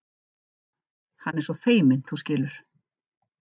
Hann er svo feiminn, þú skilur.